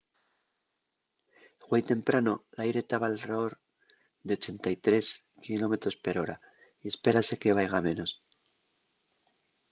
güei temprano l’aire taba alredor de 83 km/h y espérase que vaiga a menos